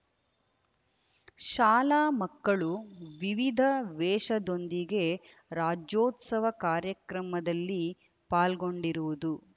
ಶಾಲಾ ಮಕ್ಕಳು ವಿವಿಧ ವೇಷದೊಂದಿಗೆ ರಾಜ್ಯೋತ್ಸವ ಕಾರ್ಯಕ್ರಮದಲ್ಲಿ ಪಾಲ್ಗೊಂಡಿರುವುದು